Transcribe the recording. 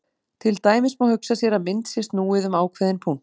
Til dæmis má hugsa sér að mynd sé snúið um ákveðinn punkt.